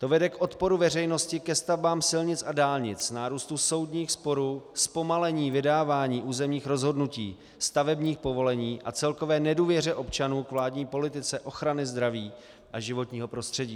To vede k odporu veřejnosti ke stavbám silnic a dálnic, nárůstu soudních sporů, zpomalení vydávání územních rozhodnutí, stavebních povolení a celkové nedůvěře občanů k vládní politice ochrany zdraví a životního prostředí.